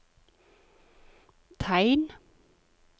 tegn